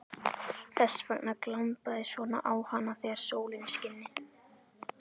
Þess vegna glampaði svona á hana þegar sólin skini.